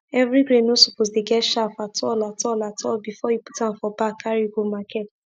every grain no suppose dey get chaff at all at all at all before u put am for bag carry go market